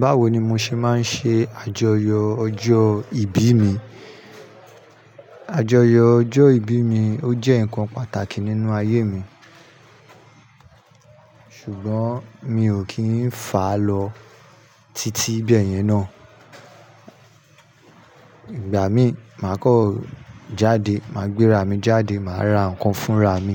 Báwo ni mo ṣe máa ń ṣe àjọyọ̀ ọjọ́ ìbí mi? Àjọyọ̀ ọjọ́ ìbí mi ó jẹ́ ǹkan pàtàkì nínú ayé mi, ṣùgbọ́n mi ò kí ń fà á lọ titi bayẹn ná. Ìgbà mí, màá kan jáde, màá gbé ra mi jáde, màá ra ǹkan fún ra mi,